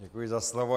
Děkuji za slovo.